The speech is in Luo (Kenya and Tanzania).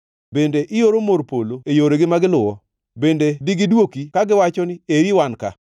Bende ioro mor polo e yoregi ma giluwo? Bende digiduoki kagiwacho ni, ‘Eri wan ka’?